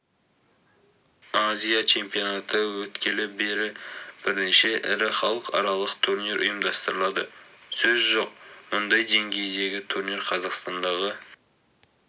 азия чемпионаты өткелі бері бірнеше ірі халықаралық турнир ұйымдастырылды сөз жоқ мұндай деңгейдегі турнир қазақстандағы